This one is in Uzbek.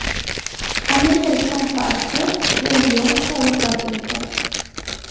Amerikalik taniqli aktyor Rey Liotta vafot etdi.